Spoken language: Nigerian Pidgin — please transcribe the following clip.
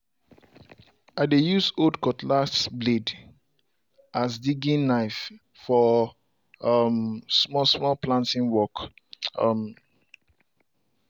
i dey use old cutlass blade as digging knife for um small small planting work. um